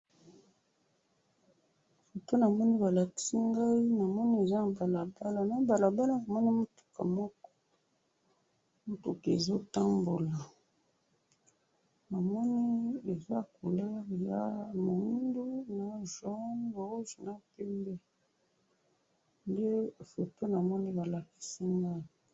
Foto namoni balakisi ngayi, namoni eza na balabala, na balabala namoni mutuka moko, mutuka ezo tambola, namoni eza couleur ya mwindu, na jaune, rose, na pembe, nde foto namoni balakisi nga.